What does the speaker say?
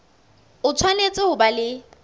o tshwanetse ho ba le